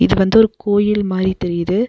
இது வந்து ஒரு கோயில் மாரி தெரியிது.